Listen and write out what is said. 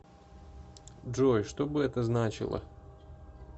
джой что бы это значило